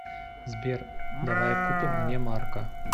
сбер давай купим мне марка